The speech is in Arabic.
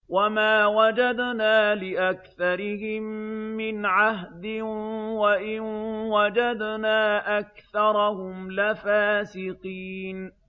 وَمَا وَجَدْنَا لِأَكْثَرِهِم مِّنْ عَهْدٍ ۖ وَإِن وَجَدْنَا أَكْثَرَهُمْ لَفَاسِقِينَ